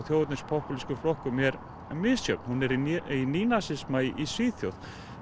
þjóðernis popúlísku flokkunum er misjöfn hún er í í Svíþjóð